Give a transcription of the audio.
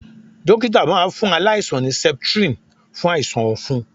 Dókítà máa fún aláìsàn ní septrin fún àìsàn ọ̀fun.